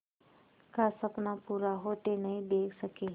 का सपना पूरा होते नहीं देख सके